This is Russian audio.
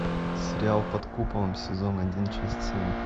сериал под куполом сезон один часть семь